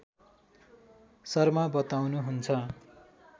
शर्मा बताउनुहुन्छ